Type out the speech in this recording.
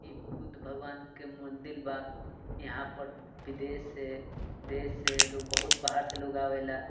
इ बुद्ध भगवान के मोन्दील बा यहां पर विदेश से देश से लोग बहुत बाहर से लोग आवेला।